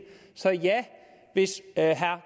så ja hvis herre